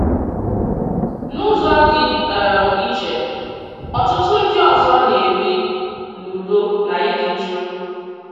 N’ụzọ dị um iche, ọ̀tụtụ ndị ọzọ nā-ebi n’udo na ịdị jụụ.